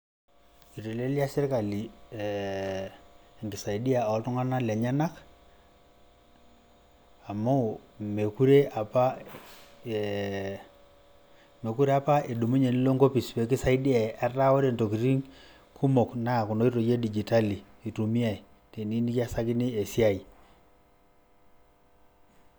Itelelia sirkali eh enkisaidia oltung'anak lenyanak, amu mekure apa eh mekure apa idumunye nilo enkopis pekisaidiai etaa ore ntokiting' kumok, na kuna oitoi edijitali itumiai, teniyieu nikiasakini esiai.